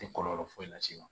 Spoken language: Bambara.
Tɛ kɔlɔlɔ foyi lase e ma